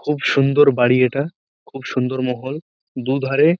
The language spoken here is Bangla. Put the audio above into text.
খুব সুন্দর বাড়ি এটা খুব সুন্দর মহল দু ধারে-এ--